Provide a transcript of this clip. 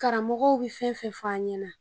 Karamɔgɔw bɛ fɛn o fɛn fɔ an ɲɛna